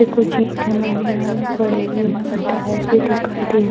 ये कुछ ईटे वगेरा भी पड़े हुए हैं और टायर भी दिखाई दे रहा --